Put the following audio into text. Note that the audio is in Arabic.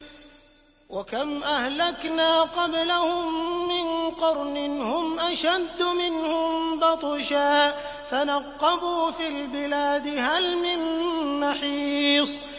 وَكَمْ أَهْلَكْنَا قَبْلَهُم مِّن قَرْنٍ هُمْ أَشَدُّ مِنْهُم بَطْشًا فَنَقَّبُوا فِي الْبِلَادِ هَلْ مِن مَّحِيصٍ